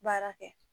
Baara kɛ